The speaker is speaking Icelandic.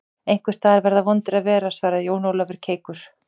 Einhvers staðar verða vondir að vera, svaraði Jón Ólafur keikur.